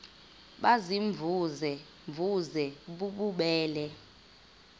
baziimvuze mvuze bububele